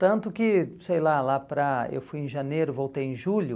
Tanto que, sei lá, lá para, eu fui em janeiro, voltei em julho.